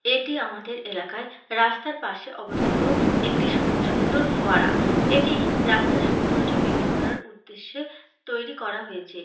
এটি আমাদের এলাকায় রাস্তার পাশে অবস্থিত একটি সু সুন্দর ফোয়ারা। এটি রাস্তার সৌন্দর্য্য বৃদ্ধি করার উদ্দেশ্যে তৈরি করা হয়েছে।